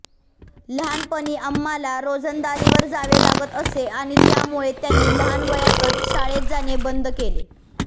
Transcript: लहानपणी अम्माला रोजंदारीवर जावे लागत असे आणि त्यामुळे त्यांनी लहान वयातच शाळेत जाणे बंद केले